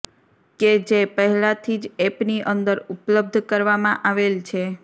કે જે પહેલા થી જ એપ ની અંદર ઉપલબ્ધ કરવા માં આવેલ છે